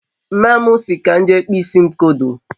mma mu si ka m jee kpụọ isi m kodo